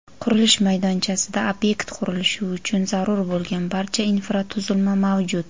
qurilish maydonchasida ob’ekt qurilishi uchun zarur bo‘lgan barcha infratuzilma mavjud.